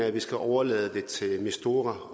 at vi skal overlade det til mistura